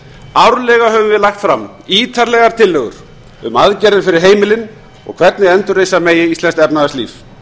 árlega höfum við lagt fram ítarlegar tillögur um aðgerðir fyrir heimilin og hvernig endurreisa megi íslenskt efnahagslíf